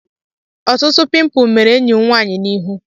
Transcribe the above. Ọtụtụ pimpụl mere enyi m nwaanyị n'ihu.